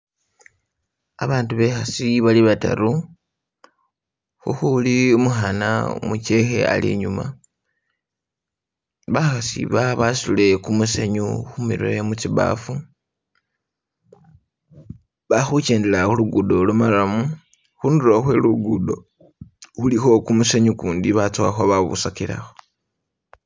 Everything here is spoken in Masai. Abandu bekhasi bali bataru khukhuli umukhana umuchekhe ali inyuma, bakhasi aba basutile kumusenyu khumirwe mutsibafu bali khu kendela khulugudo lwo marrum khundulo khwe lugudo khulikho kumusenyu ukundi batsukhakho babusakilakho.